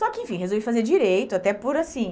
Só que, enfim, resolvi fazer direito até por, assim,